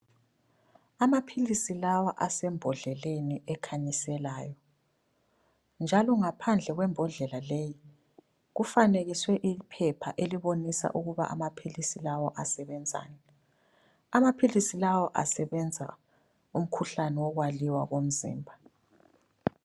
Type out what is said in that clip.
Amaphilisi lawa asembhodleleni ekhanyiselayo njalo ngaphandle kwembhodlela leyi kufanekiswe iphepha elibonisa ukuba amaphilisi lawo asebenzani. Amaphilisi lawa asebenza umkhuhlane wokwaliwa komzimba.